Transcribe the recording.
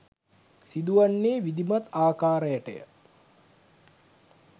සිදුවන්නේ විධිමත් ආකාරයටය